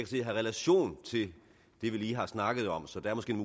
se har relation til det vi lige har snakket om så der er måske en